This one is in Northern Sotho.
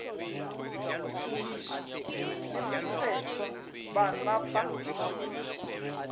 tumiši le mokgethwa ba napa